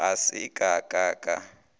ga se ka ka ka